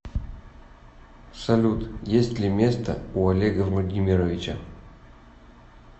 салют есть ли места у олега владимировича